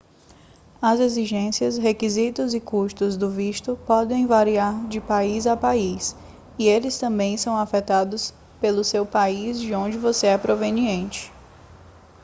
as exigências requisitos e custos do visto podem variar de país a país e eles também são afetados pelo seu país de onde você é proveniente